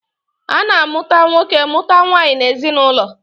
A na-amụta nwoke mụta nwaanyị n'ezinaụlọ.